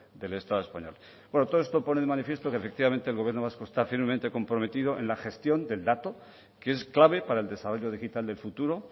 del estado español bueno todo esto pone de manifiesto que efectivamente el gobierno vasco está firmemente comprometido en la gestión del dato que es clave para el desarrollo digital del futuro